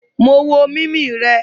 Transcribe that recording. Mo wo mimi rẹ..